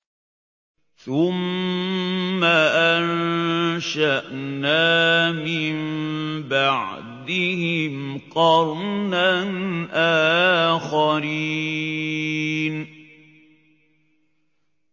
ثُمَّ أَنشَأْنَا مِن بَعْدِهِمْ قَرْنًا آخَرِينَ